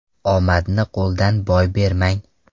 Omadni qo‘ldan boy bermang.